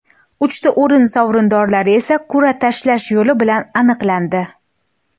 Uchta o‘rin sovrindorlari esa qur’a tashlash yo‘li bilan aniqlandi.